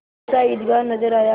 सहसा ईदगाह नजर आया